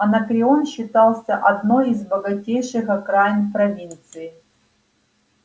анакреон считался одной из богатейших окраинных провинций